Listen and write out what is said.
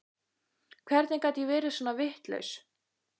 Hvernig gat ég verið svona vitlaus?